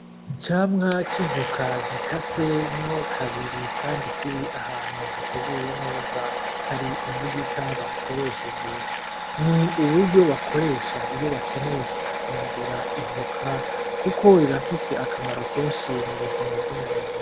Icamwa c'ivoka gikase mwo kabiri kandi kiri ahantu bateguye neza. Hari imbugita bakoresheje, ni uburyo bakoresha iyo bakenyeye gufungura ivoka kuko rirafise akamaro kenshi mu buzima bw'umuntu.